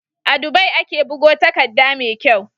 A Dubai ake bugo takadda me kyau